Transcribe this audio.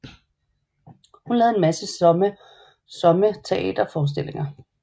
Hun lavede en masse somme teaterforestillinger